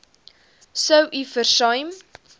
sou u versuim